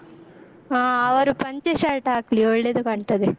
ಹಾ ಅವರು ಪಂಚೆ shirt ಹಾಕ್ಲಿ, ಒಳ್ಳೇದು ಕಾಣ್ತದೆ.